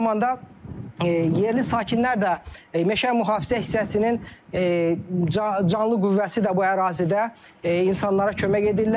Eyni zamanda yerli sakinlər də meşə Mühafizə hissəsinin canlı qüvvəsi də bu ərazidə insanlara kömək edirlər.